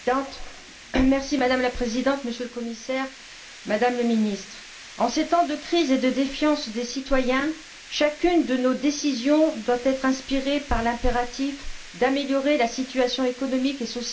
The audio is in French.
Madame la Présidente, Monsieur le Commissaire, Madame la Ministre, en ces temps de crise et de défiance des citoyens, chacune de nos décisions doit être inspirée par l'impératif d'améliorer la situation économique et sociale des Européens.